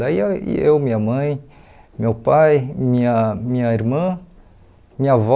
Daí ia e eu, minha mãe, meu pai, minha minha irmã, minha avó,